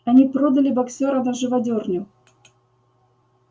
они продали боксёра на живодёрню